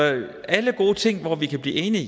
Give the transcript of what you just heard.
alle gode ting hvor vi kan blive enige